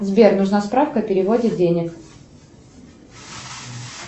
сбер нужна справка о переводе денег